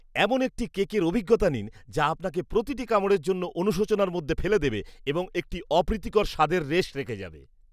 এমন একটি কেকের অভিজ্ঞতা নিন, যা আপনাকে প্রতিটি কামড়ের জন্য অনুশোচনার মধ্যে ফেলে দেবে এবং একটি অপ্রীতিকর স্বাদের রেশ রেখে যাবে